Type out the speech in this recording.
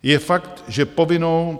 Je fakt, že povinnou...